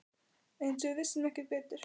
Eins og við vissum ekki betur.